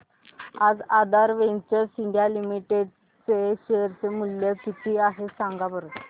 आज Aadhaar ventures India limited चे share चे मूल्य किती आहे सांगा बरं